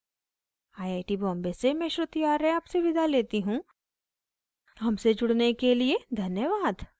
iit iit T Bombay से मैं श्रुति आर्य आपसे विदा लेती हूँ हमसे जुड़ने के लिए धन्यवाद